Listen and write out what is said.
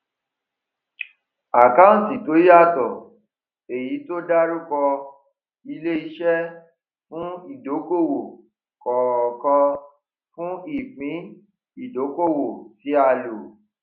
àkáǹtì tó yàtọ èyí tó dárúkọ ileiṣẹ fún ìdókòòwò kọọkan fún ìpín ìdókoòwò tí a lò